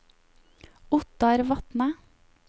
Ottar Vatne